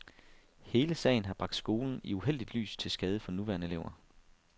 Hele sagen har bragt skolen i uheldigt lys til skade for nuværende elever.